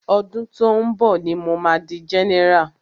Ọdún tó ń bọ̀ ní mo ma di general.